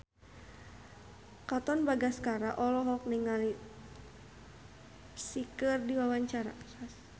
Katon Bagaskara olohok ningali Psy keur diwawancara